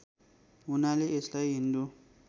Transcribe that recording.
हुनाले यसलाई हिन्दू